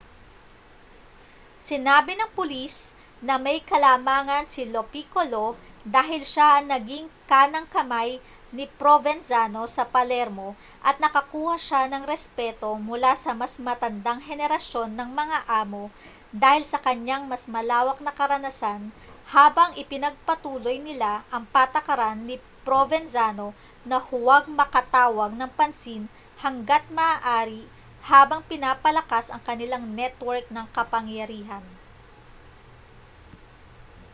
sinabi ng pulis na may kalamangan si lo piccolo dahil siya ang naging kanang-kamay ni provenzano sa palermo at nakakuha siya ng respeto mula sa mas matandang henerasyon ng mga amo dahil sa kaniyang mas malawak na karanasan habang ipinagpatuloy nila ang patakaran ni provenzano na huwag makatawag ng pansin hangga't maaari habang pinapalakas ang kanilang network ng kapangyarihan